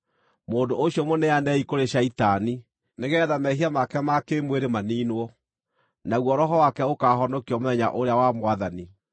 mũndũ ũcio mũneanei kũrĩ Shaitani, nĩgeetha mehia make ma kĩĩmwĩrĩ maniinwo, naguo roho wake ũkaahonokio mũthenya ũrĩa wa Mwathani.